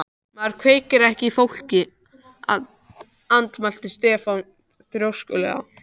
Maður kveikir ekki í fólki, andmælti Stefán þrjóskulega.